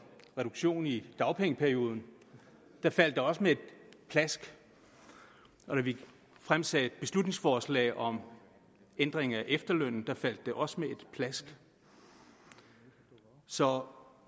reduktion i dagpengeperioden faldt det også med et klask og da vi fremsatte beslutningsforslag om ændring af efterlønnen faldt det også med et klask så